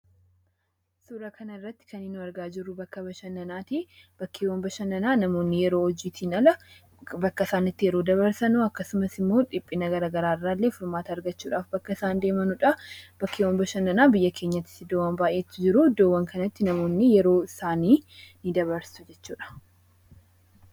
Suuraa kanarratti kan nu argaa jirru bakka bashannanaa ti. Bakkeewwan bashannanaa namoonni yeroo hojiitiin ala bakka isaan itti yeroo dabarsanu akkasumas immoo dhiphina garaagaraa irraallee furmaata argachuudhaaf bakka isaan deemanuu dha. Bakkeewwan bashannanaa biyya keenyas iddoowwan baay'eetu jiru. Iddoowwan kanatti namoonni yeroo isaanii ni dabarsu jechuudha.